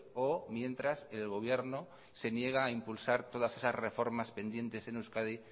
o mientras el gobierno se niega a impulsar todas esas reformas pendientes en euskadi